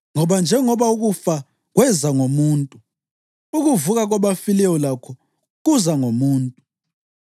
Ngoba njengoba ukufa kweza ngomuntu, ukuvuka kwabafileyo lakho kuza ngomuntu.